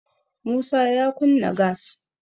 musa ya kunna gas